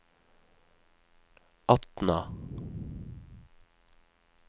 Atna